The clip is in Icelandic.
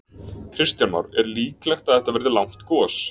Kristján Már: Er líklegt að þetta verði langt gos?